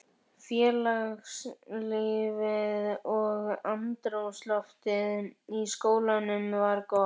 Félagslífið og andrúmsloftið í skólanum var gott.